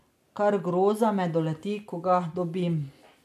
Kar groza me doleti, ko ga dobim.